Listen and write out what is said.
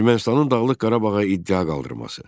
Ermənistanın Dağlıq Qarabağa iddia qaldırması.